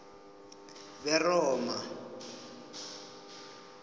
beroma